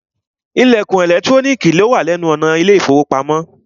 Ìlẹ̀kùn ẹ̀lẹ́trónìkì wà ní ẹnu ọ̀nà ilé ìfọwọ́pamo.